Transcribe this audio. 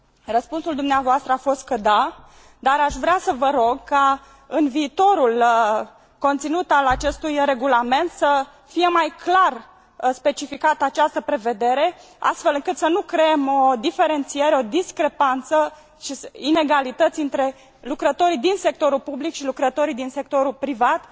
Răspunsul dumneavoastră a fost că da, dar aș vrea să vă rog ca în viitorul conținut al acestui regulament să fie mai clar specificată această prevedere, astfel încât să nu creăm o diferențiere, o discrepanță și inegalități între lucrătorii din sectorul public și lucrătorii din sectorul privat,